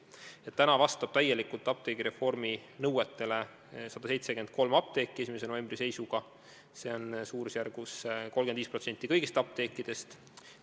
Täna, 1. novembri seisuga vastab täielikult apteegireformi nõuetele 173 apteeki, see on 35% kõigist apteekidest.